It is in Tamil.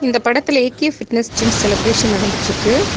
இந்த படத்துல ஏ_கே ஃபிட்னஸ் ஜிம் செலெப்ரேஷன் நடந்துட்ருக்கு.